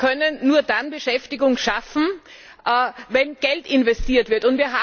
Wir können nur dann Beschäftigung schaffen, wenn Geld investiert wird.